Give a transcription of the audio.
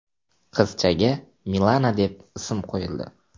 Qizchaga Milana deb ism qo‘yildi.